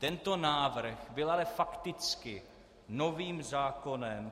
Tento návrh byl ale fakticky novým zákonem.